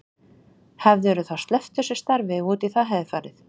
Hefðirðu þá sleppt þessu starfi ef út í það hefði farið?